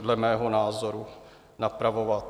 dle mého názoru napravovat.